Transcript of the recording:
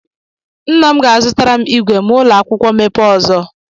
Nna m ga-azụtara m ígwè ma ụlọ akwukwo mekpe ọzọ.